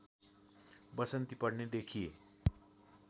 वसन्ती पढ्ने देखिए